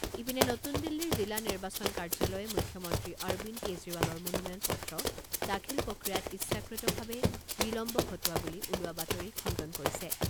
ইপিনে নতুন দিল্লীৰ জিলা নিৰ্বাচন কাৰ্যালয়ে মুখ্যমন্ত্ৰী অৰবিন্দ কেজৰিৱালৰ মনোনয়ন পত্ৰ দাখিল প্ৰক্ৰিয়াত ইচ্ছাকৃতভাৱে বিলম্ব ঘটোৱা বুলি ওলোৱা বাতৰি খণ্ডন কৰিছে।